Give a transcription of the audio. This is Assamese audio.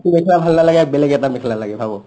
এইটো মেখলা ভাল নালাগে বেলেগ এটা মেখলা লাগে ভাবৌ